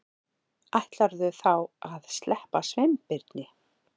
Ætlarðu þá að sleppa Sveinbirni?